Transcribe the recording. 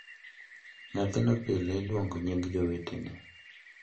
Nyathino pile iluongo nying jowetene ,.